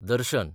दर्शन